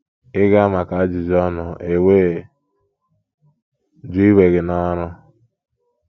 Ị gaa maka ajụjụ ọnụ e wee jụ iwe gị n’ọrụ.